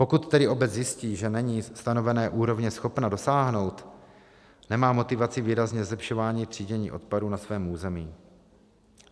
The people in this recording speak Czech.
Pokud tedy obec zjistí, že není stanovené úrovně schopna dosáhnout, nemá motivaci výrazně zlepšovat třídění odpadů na svém území.